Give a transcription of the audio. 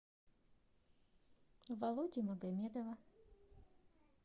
володи магомедова